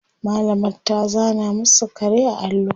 mallamar ta zana masu kare a allo